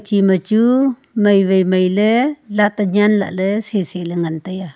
chima chu mai wai mai ley lak nya lah ley si si ley ngan taiya.